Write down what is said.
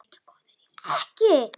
SKÚLI: Ekki?